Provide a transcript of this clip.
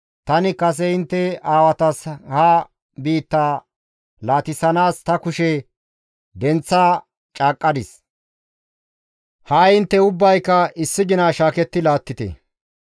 Tani kase intte aawatas ha biittaa laatissanaas ta kushe denththa caaqqadis; ha7i intte ubbayka issi gina shaaketti laattite.